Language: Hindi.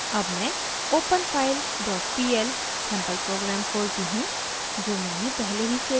अब मैं openfilepl सैंपल प्रोग्राम खोलती हूँ जो मैंने पहले ही सेव किया है